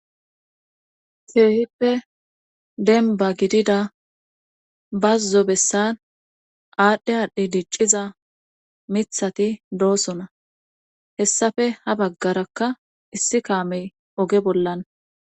Keehippe demmbba gidida bazzo bessan aadhdhe aadhdhi dicciza miththati doosona hessafe ha baggarakka issi kaamey oge bollan